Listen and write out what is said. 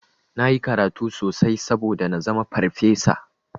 Nayi karatu sosai saboda nazama farfesa.